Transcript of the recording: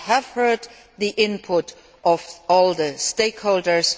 We have heard the input of all the stakeholders.